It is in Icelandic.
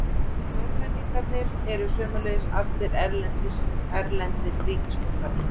Fjórmenningarnir eru sömuleiðis allir erlendir ríkisborgarar